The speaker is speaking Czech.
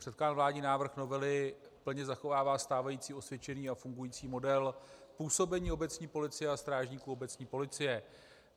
Předkládaný vládní návrh novely plně zachovává stávající osvědčený a fungující model působení obecní policie a strážníků obecní policie.